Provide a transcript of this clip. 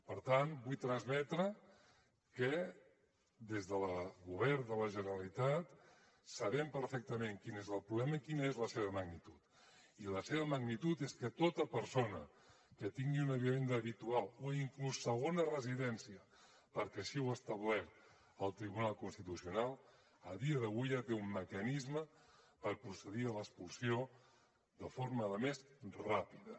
per tant vull transmetre que des del govern de la generalitat sabem perfectament quin és el problema i quina és la seva magnitud i la seva magnitud és que tota persona que tingui una vivenda habitual o inclús segona residència perquè així ho ha establert el tribunal constitucional a dia d’avui ja té un mecanisme per procedir a l’expulsió de forma a més ràpida